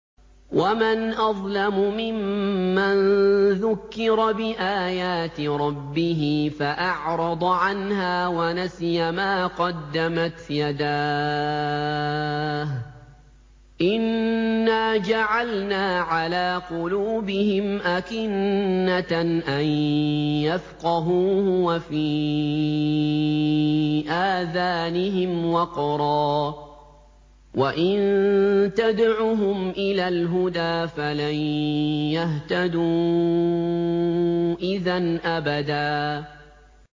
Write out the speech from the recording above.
وَمَنْ أَظْلَمُ مِمَّن ذُكِّرَ بِآيَاتِ رَبِّهِ فَأَعْرَضَ عَنْهَا وَنَسِيَ مَا قَدَّمَتْ يَدَاهُ ۚ إِنَّا جَعَلْنَا عَلَىٰ قُلُوبِهِمْ أَكِنَّةً أَن يَفْقَهُوهُ وَفِي آذَانِهِمْ وَقْرًا ۖ وَإِن تَدْعُهُمْ إِلَى الْهُدَىٰ فَلَن يَهْتَدُوا إِذًا أَبَدًا